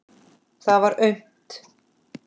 Það var autt.